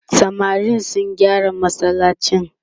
samarin sun gyara masallacin